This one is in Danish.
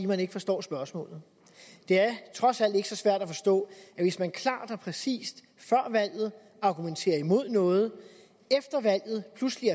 man ikke forstår spørgsmålene det er trods alt ikke så svært at forstå at hvis man klart og præcist før valget argumenterede imod noget og efter valget pludselig